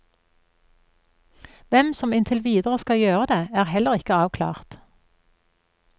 Hvem som inntil videre skal gjøre det, er heller ikke avklart.